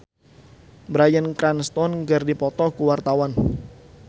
Gisel Anastasia jeung Bryan Cranston keur dipoto ku wartawan